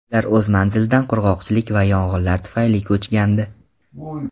Ular o‘z manzilidan qurg‘oqchilik va yong‘inlar tufayli ko‘chgandi.